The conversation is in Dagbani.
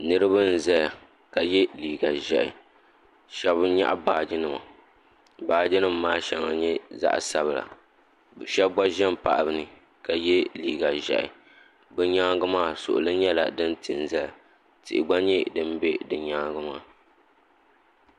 Niriba zɛya ka yɛ liga ʒiɛhi sheb nyɛɣi baaginima baaginim maa shaŋa nyɛ zaɣi sabilabe shɛb gba pahi be ni ka yɛ liga ʒiɛhi be nyaanga maa suɣuli nyɛla din tin zaya ti gba nye din be nyaanga maa